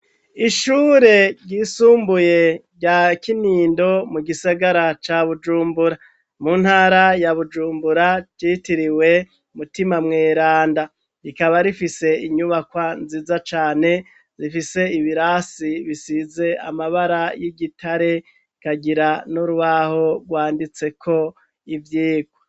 Ishure ryisumbuye rya kinindo mu gisagara ca bujumbura mu ntara ya bujumbura citiriwe mutima mweranda, rikaba rifise inyubakwa nziza cane rifise ibirasi bisize amabara y'igitare kagira n'urwaho rwanditseko ivyigwa.